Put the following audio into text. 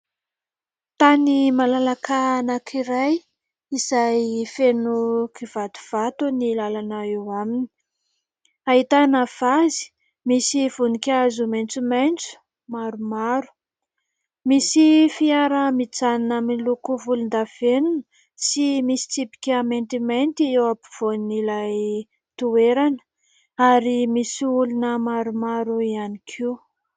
Tany malalaka anankiray izay feno kivatovato ny lalana eo aminy. Ahitana vazy misy voninkazo maitsomaitso maromaro. Misy fiara mijanona miloko volondavenona sy misy tsipika maintimainty eo ampovoan'ilay toerana ary misy olona maromaro ihany koa.